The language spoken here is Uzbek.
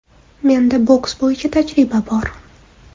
Menda boks bo‘yicha tajriba bor.